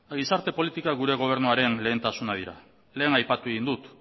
gure gobernuaren lehentasuna dira lehen aipatu egin dut